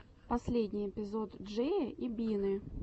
последний эпизод джея и бины